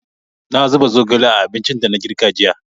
Na zuba zogale a abincin da na girka jiya.